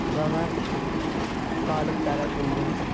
Və mən qalib gələ bildim.